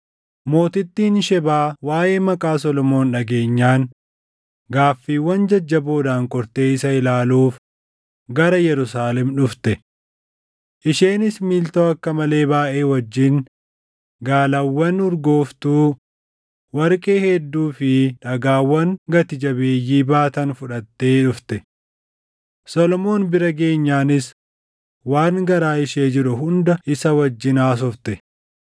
Mootittiin Shebaa waaʼee maqaa Solomoon dhageenyaan gaaffiiwwan jajjaboodhaan qortee isa ilaaluuf gara Yerusaalem dhufte. Isheenis miiltoo akka malee baayʼee wajjin gaalawwan urgooftuu, warqee hedduu fi dhagaawwan gati jabeeyyii baatan fudhattee dhufte; Solomoon bira geenyaanis waan garaa ishee jiru hunda isa wajjin haasofte.